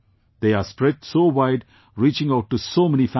They are spread so wide, reaching out to so many families